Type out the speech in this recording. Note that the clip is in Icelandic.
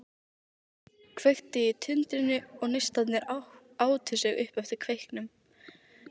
Kveikti í tundrinu og neistarnir átu sig upp eftir kveiknum.